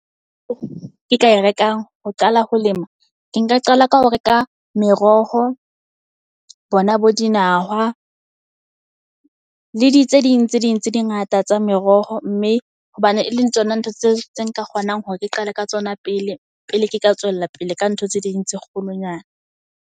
Ke ka e rekang ho qala ho lema. Ke nka qala ka ho reka meroho bona bo di nawa le di tse ding tse ding tse di ngata tsa meroho. Mme hobane e leng tsona ntho tseo tse nka kgonang hore ke qale ka tsona pele. Pele ke ka tswella pele ka ntho tse ding tse kgolonyana.